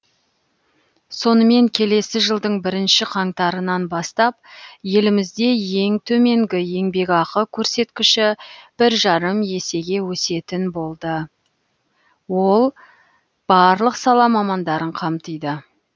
сонымен келесі жылдың бірінші қаңтарынан бастап елімізде ең төменгі еңбекақы көрсеткіші бір жарым есеге өсетін болды ол барлық сала мамандарын қамтиды